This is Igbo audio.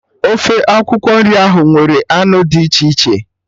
Ofe akwụkwọ nri ahụ nwere anụ dị iche iche